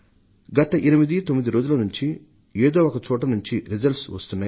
గత ఎనిమిది తొమ్మిది రోజుల నుండి ఏదో ఒక చోట నుండి ఫలితాలు వస్తున్నాయి